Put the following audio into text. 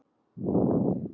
Þetta var alvöru líf.